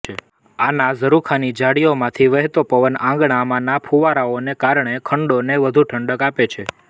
આના ઝરુખાની જાળીઓમાંથી વહેતો પવન આંગણાં માંના ફુવારાઓને કારણે ખંડોને વધુ ઠંડક આપે છે